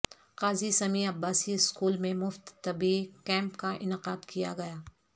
قاضی Sami Abbasi school میں مفت طبی کیمپ کا انعقاد کیا گیا